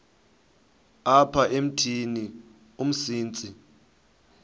apha emithini umsintsi